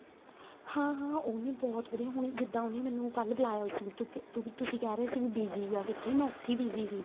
ਹਾਂ ਹਾਂ ਉਹਨੇ ਬਹੁਤ ਵਧੀਆ ਹੁਣ ਜਿੱਦਾਂ ਉਹਨੇ ਮੈਨੂੰ ਕੱਲ ਬੁਲਾਇਆ ਹੋਇਆ ਸੀ ਕਿਉਂਕਿ ਤੁਸੀਂ ਕਹਿ ਰਹੇ ਸੀ busy ਆ ਕਿੱਥੇ ਮੈਂ ਉੱਥੇ ਹੀ busy ਸੀ